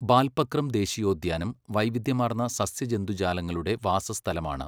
ബാൽപക്രം ദേശീയോദ്യാനം വൈവിധ്യമാർന്ന സസ്യജന്തുജാലങ്ങളുടെ വാസസ്ഥലമാണ്.